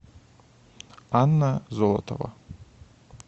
анна золотова